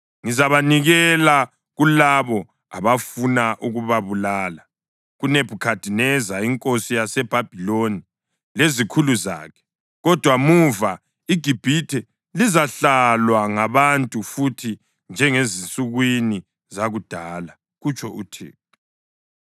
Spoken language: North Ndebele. Ngizabanikela kulabo abafuna ukubabulala, kuNebhukhadineza inkosi yaseBhabhiloni lezikhulu zakhe. Kodwa muva, iGibhithe lizahlalwa ngabantu futhi njengasezinsukwini zakudala,” kutsho uThixo.